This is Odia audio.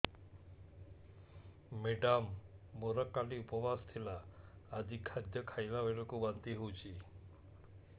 ମେଡ଼ାମ ମୋର କାଲି ଉପବାସ ଥିଲା ଆଜି ଖାଦ୍ୟ ଖାଇଲା ବେଳକୁ ବାନ୍ତି ହେଊଛି